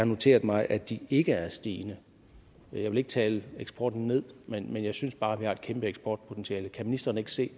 noteret mig at de ikke er stigende jeg vil ikke tale eksporten ned men jeg synes bare at vi har et kæmpe eksportpotentiale kan ministeren ikke se